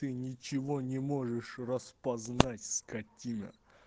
ты ничего не можешь распознать скотина